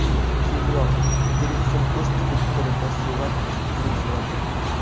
Keyinroq Griffin o‘z Twitter’ida surat uchun uzr so‘radi.